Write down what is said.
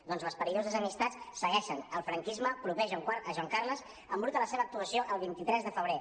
doncs les perilloses amistats segueixen el franquisme proper a joan carles embruta la seva actuació el vint tres de febrer